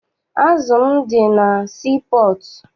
Azụ m dị na sii pọọtụ.